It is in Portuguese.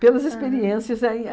Pelas experiências aí.